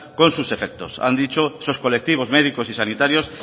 con sus efectos han dicho esos colectivos médicos y sanitarios